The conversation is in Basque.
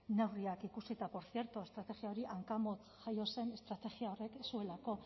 neurriak ikusi eta portzierto estrategia hori hankamotz jaio zen estrategia horrek ez zuelako